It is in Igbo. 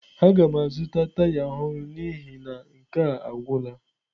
Aga m azụta taya ọhụrụ n'ihi na nke a agwụla.